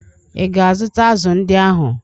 Ị ga-azụta azụ̀ ndị ahụ?